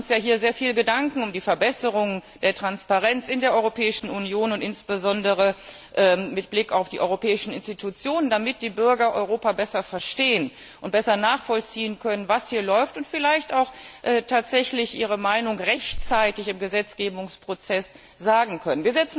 Wir machen uns hier ja sehr viele Gedanken um die Verbesserung der Transparenz in der Europäischen Union und insbesondere mit Blick auf die europäischen Institutionen damit die Bürger Europa besser verstehen und besser nachvollziehen können, was hier läuft, und vielleicht auch tatsächlich ihre Meinung rechtzeitig im Gesetzgebungsprozess sagen können.